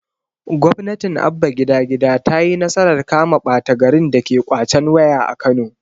gwamnatin abba gida gida tayi nasarar kama ɓata garin dake ƙwacen waya a kano